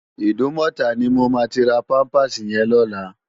Idúmòtá ni mó má ti rá pàmpásí yèn lòlá